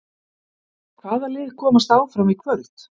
Hvaða lið komast áfram í kvöld?